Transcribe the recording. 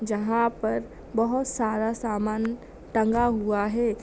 जहाँ पर बहोत सारा समान टंगा हुआ है।